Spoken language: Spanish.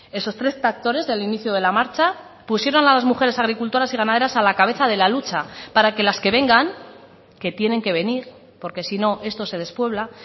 esos tres tractores del inicio de la marcha pusieron a las mujeres agricultoras y ganaderas a la cabeza de la lucha para que las que vengan que tienen que venir porque si no esto se despuebla